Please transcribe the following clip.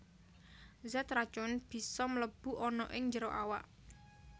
Zat racun bisa mlebu ana ing njero awak